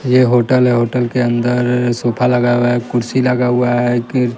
यह होटल है होटल के अंदर सोफा लगा हुआ है कुर्सी लगा हुआ है कि--